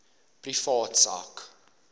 privaat sak